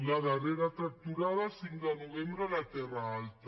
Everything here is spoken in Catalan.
la darrera tractorada cinc de novembre a la terra alta